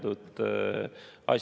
Austatud istungi juhataja!